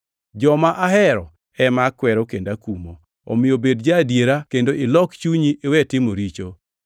Joma ahero ema akwero kendo akumo. Omiyo bed ja-adiera kendo ilok chunyi iwe timo richo.